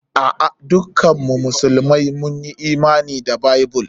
A'a, dukkan mu musulmai mun Imani da Bible.